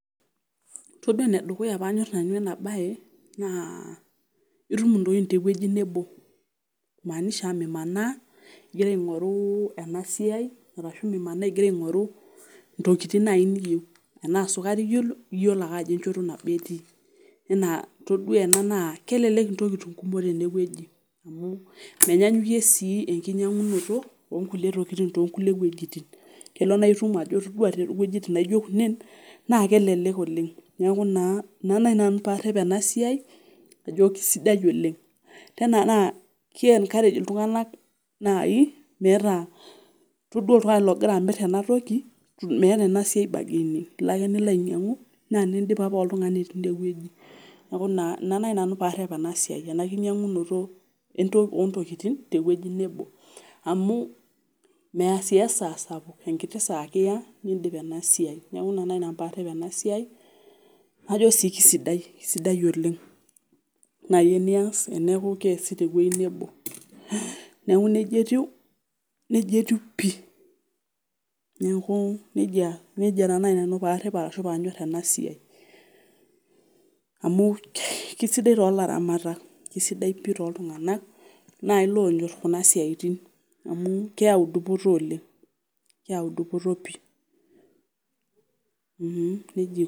Todua enedukuya panyor nanu enabae naa itum intokitin tewueji nebo imaanisha mimanaa ingira aingoru enasiai ashu mimanaa ingira aingoru ntokitin naji niyieu enaa sukari iyieu , iyiolo ake ajo enchoto nabo etii enaa todua ena naa kelelek intokitin kumok tenewueji amu menyaanyukie sii enkinyangunoto onkutie tokitin toonkulie wuejitin kelo naa itum ajo toduoa towuejitin naijo kunen naa kelelek oleng , niaku naa ina nanu parep ena siai ajo kisidai oleng tena naa kiencourage iltunganak nai metaa todua oltungani logira amir enatoki meeta ena siai bargaining ilo ake nilo ainyiangu naa nindipapa oltungani tine wueji . Niaku naa ina naji nanu parep enasiai enakinyangunoto ontokitin tewueji nebo amu meya sii esaa sapuk enkiti saa ake iya nindip ena siai . Niaku ina naji nanu parep enasiai najo sii kisidai , kisidai oleng nai eniyieu nias amu kiasi tewuei nebo . Neku nejia etiu , nejia etiu pi , neeku nejia, nejia taa naji nanu parep ashu panyor enasiai amu kisidai tolaramatak, kisidai pi toltunganak nai lonyor kuna siatin amua keyau dupoto oleng, keyau dupoto pi, mmm nejia etiu.